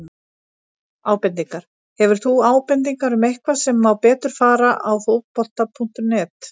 Ábendingar: Hefur þú ábendingar um eitthvað sem má betur fara á Fótbolta.net?